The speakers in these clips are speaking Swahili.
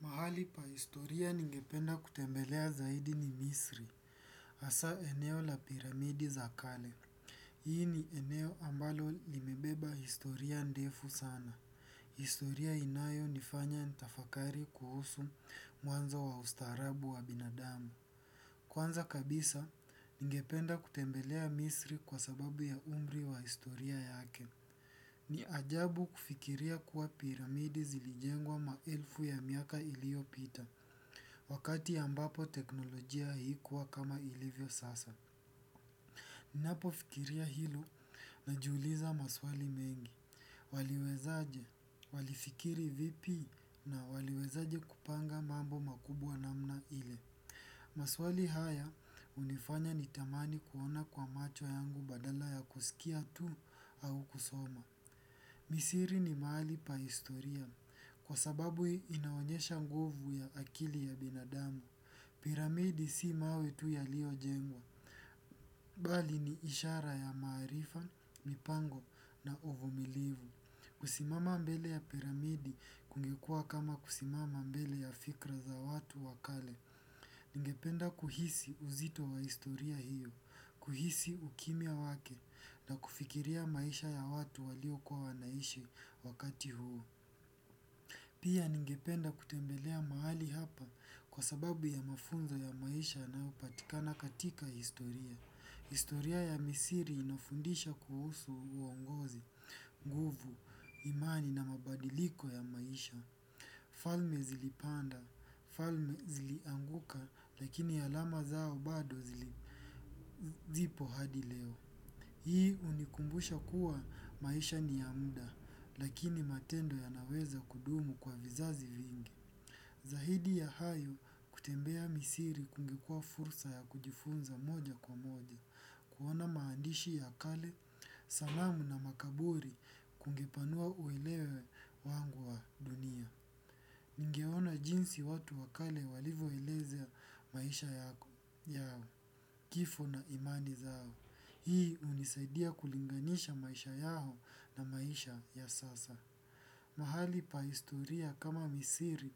Mahali pa historia ningependa kutembelea zaidi ni misri, hasa eneo la piramidi za kale. Hii ni eneo ambalo limebeba historia ndefu sana. Historia inayo nifanya nitafakari kuhusu mwanzo wa ustaarabu wa binadamu. Kwanza kabisa ningependa kutembelea misri kwa sababu ya umri wa historia yake. Ni ajabu kufikiria kuwa piramidi zilijengwa maelfu yamiaka iliopita. Wakati ambapo teknolojia haikuwa kama ilivyo sasa. Ninapofikiria hilo najiuliza maswali mengi. Waliwezaje, walifikiri vipi na waliwezaje kupanga mambo makubwa namna ile. Maswali haya hunifanya nitamani kuona kwa macho yangu badala ya kusikia tu au kusoma. Misri ni mahali pa historia, kwa sababu inaonyesha nguvu ya akili ya binadamu. Piramidi si mawe tu yaliojengwa, bali ni ishara ya maarifa, mipango na uvumilivu. Kusimama mbele ya piramidi kungekuwa kama kusimama mbele ya fikra za watu wa kale. Ningependa kuhisi uzito wa historia hio, kuhisi ukimya wake na kufikiria maisha ya watu waliokuwa wanaishi wakati huo. Pia ningependa kutembelea mahali hapa kwa sababu ya mafunzo ya maisha yanayopatikana katika historia. Historia ya misri inafundisha kuhusu uongozi, nguvu, imani na mabadiliko ya maisha. Falme zilipanda, falme zilianguka, lakini alama zao bado zipo hadi leo. Hii hunikumbusha kuwa maisha ni ya muda, lakini matendo yanaweza kudumu kwa vizazi vingi. Zaidi ya hayo kutembea misri kungekua fursa ya kujifunza moja kwa moja, kuona maandishi ya kale, salamu na makaburi kungepanua uelewa wangu wa dunia. Ningeona jinsi watu wakale walivoeleza maisha yao, kifo na imani zao. Hii hunisaidia kulinganisha maisha yao na maisha ya sasa. Mahali pa historia kama misri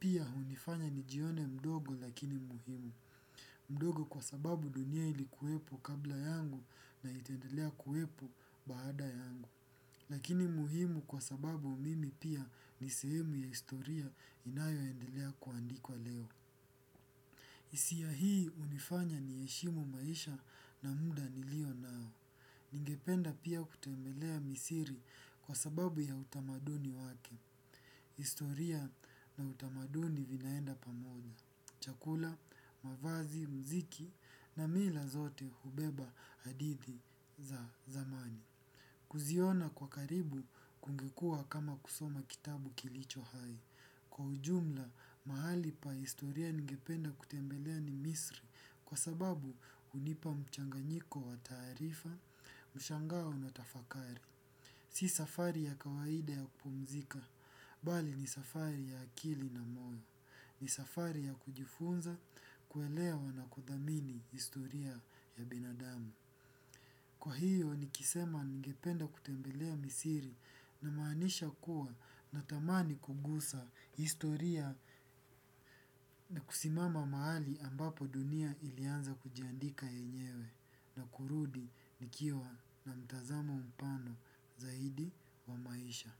pia hunifanya nijione mdogo lakini muhimu. Mdogo kwa sababu dunia ilikuwepo kabla yangu na itaendelea kuwepo baada yangu. Lakini muhimu kwa sababu mimi pia ni sehemu ya historia inayo endelea kuandikwa leo. Hisia hii hunifanya niheshimu maisha na muda nilio nao. Ningependa pia kutembelea misri kwasababu ya utamaduni wake. Historia na utamaduni vinaenda pamoja. Chakula, mavazi, muziki na mila zote hubeba hadithi za zamani. Kuziona kwa karibu kungekua kama kusoma kitabu kilicho hai. Kwa ujumla, mahali pa historia ningependa kutembelea ni misri kwa sababu hunipa mchanganyiko wa taarifa, mshangao na tafakari. Si safari ya kawaida ya kupumzika, bali ni safari ya akili na moyo. Ni safari ya kujifunza kuelewa na kuthamini historia ya binadamu. Kwa hio nikisema ningependa kutembelea misri, namaanisha kuwa natamani kugusa historia. Na kusimama mahali ambapo dunia ilianza kujiandika yenyewe na kurudi nikiwa na mtazamo mpana zaidi wa maisha.